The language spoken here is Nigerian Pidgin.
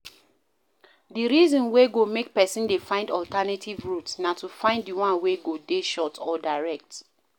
DI reason wey go make person dey find alternative route na to find di one wey go dey short or direct